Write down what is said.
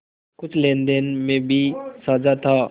कुछ लेनदेन में भी साझा था